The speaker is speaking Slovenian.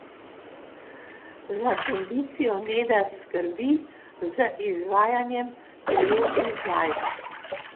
Za kondicijo Neda skrbi z izvajanjem telesnih vaj.